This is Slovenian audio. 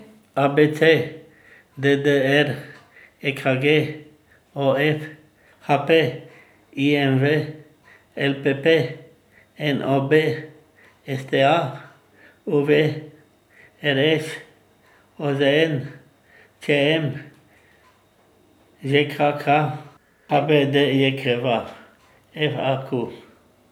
A B C; D D R; E K G; O F; H P; I M V; L P P; N O B; S T A; U V; R Š; O Z N; Č M; Ž K K; H B D J K V; F A Q.